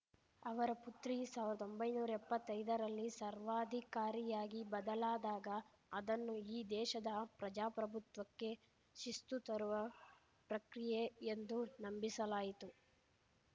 ಅವರ ಪುತ್ರಿ ಸಾವಿರ್ದಾ ಒಂಬೈನೂರಾ ಎಪ್ಪತ್ತೈದರಲ್ಲಿ ಸರ್ವಾಧಿಕಾರಿಯಾಗಿ ಬದಲಾದಾಗ ಅದನ್ನು ಈ ದೇಶದ ಪ್ರಜಾಪ್ರಭುತ್ವಕ್ಕೆ ಶಿಸ್ತು ತರುವ ಪ್ರಕ್ರಿಯೆ ಎಂದು ನಂಬಿಸಲಾಯಿತು